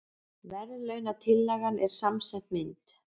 Verðlaunatillagan er samsett mynd